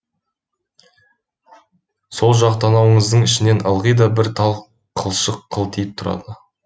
сол жақ танауыңыздың ішінен ылғи да бір тал қылшық қылтиып тұрады